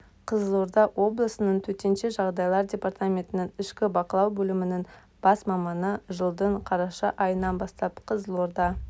қызылорда облысының төтенше жағдайлар департаментінің ішкі бақылау бөлімінің бас маманы жылдың қараша айынан бастап қызылорда